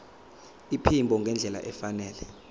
iphimbo ngendlela efanele